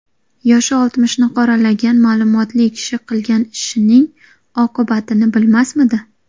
Yoshi oltmishni qoralagan ma’lumotli kishi qilgan ishining oqibatini bilmasmidi?